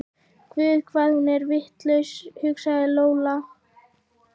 Guð hvað hún er vitlaus, hugsaði Lóa Lóa.